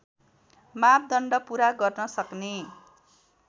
मापदण्ड पुरा गर्नसक्ने